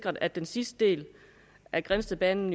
at den sidste del af grindstedbanen